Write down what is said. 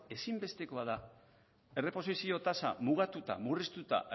ezinbestekoa da erreposizio tasa mugatuta murriztuta